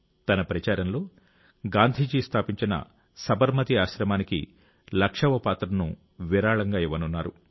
తన ప్రచారంలో గాంధీజీ స్థాపించిన సబర్మతి ఆశ్రమానికి లక్షవ పాత్రను విరాళంగా ఇవ్వనున్నారు